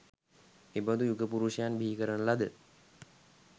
එබඳු යුග පුරුෂයන් බිහිකරන ලද